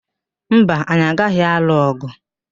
Mba, anyị agaghị alụ ọ̀gụ̀.